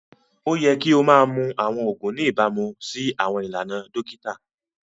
Oyẹ̀ kì o mà mún awọn oogun ní ìbàmú sí awọn ilànà dokita